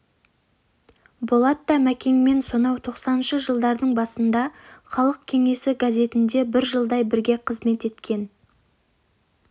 болатта мәкеңмен сонау тоқсаныншы жылдардың басында халық кеңесі газетінде бір жылдай бірге қызмет еткен